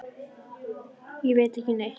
Nei, ég veit ekki neitt.